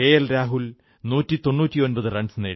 Rahul 199 run നേടി